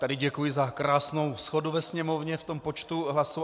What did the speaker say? Tady děkuji za krásnou shodu ve Sněmovně v tom počtu hlasů.